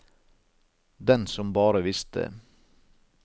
Den som bare visste.